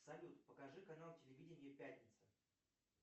салют покажи канал телевидения пятница